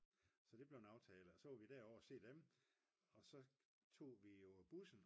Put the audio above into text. så det blev en aftale og så var vi derovre og se dem og så tog vi jo bussen